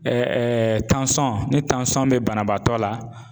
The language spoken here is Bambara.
ni bɛ banabaatɔ la .